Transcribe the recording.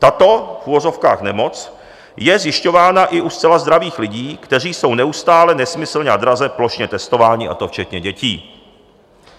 Tato v uvozovkách nemoc je zjišťována i u zcela zdravých lidí, kteří jsou neustále nesmyslně a draze plošně testováni, a to včetně dětí.